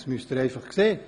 Das müssen Sie sehen.